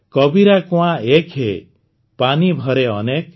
କବୀରା କୁଆଁ ଏକ ହେ ପାନୀ ଭରେ ଅନେକ